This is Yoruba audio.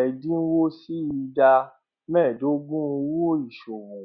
ẹdínwó sí ìdá méẹdógún owó ìṣòwò